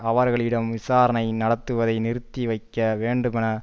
அவர்களிடம் விசாரணை நடத்துவதை நிறுத்தி வைக்க வேண்டுமென